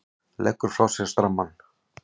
Leggur frá sér strammann.